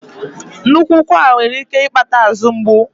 Nnukwu ụkwara nwere ike ịkpata azụ ngbu.